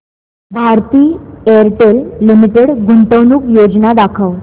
Bharti Airtel limited गुंतवणूक योजना दाखव